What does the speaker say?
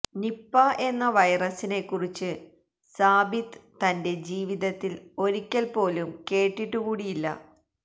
Nipah എന്ന വൈറസിനെക്കുറിച്ചു സാബിത്ത് തന്റെ ജീവിതത്തിൽ ഒരിക്കൽ പോലും കേട്ടിട്ടുകൂടിയില്ല